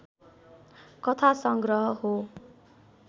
कथासङ्ग्रह हो।